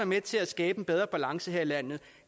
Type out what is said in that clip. med til at skabe en bedre balance her i landet